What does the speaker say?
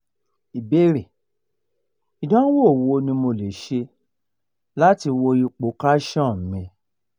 ìbéèrè: idanwo wo ni mo le se lati wo ipo calcium mi